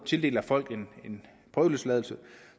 tildeler folk en prøveløsladelse